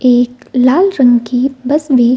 एक लाल रंग की बस भी --